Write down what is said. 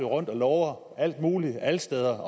rundt og lover alt muligt alle steder